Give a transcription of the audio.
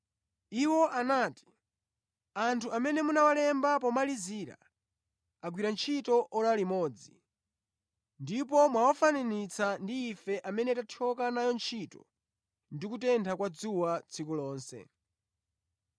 Iwo anati, ‘Anthu amene munawalemba pomalizira agwira ntchito ora limodzi, ndipo mwawafananitsa ndi ife amene tathyoka nayo ntchito ndi kutentha kwa dzuwa tsiku lonse.’